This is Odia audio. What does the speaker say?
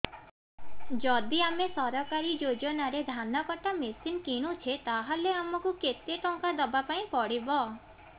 ଯଦି ଆମେ ସରକାରୀ ଯୋଜନାରେ ଧାନ କଟା ମେସିନ୍ କିଣୁଛେ ତାହାଲେ ଆମକୁ କେତେ ଟଙ୍କା ଦବାପାଇଁ ପଡିବ